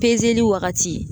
wagati.